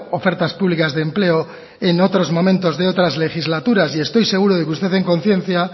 ofertas públicas de empleo en otros momentos de otras legislaturas y estoy seguro de que en conciencia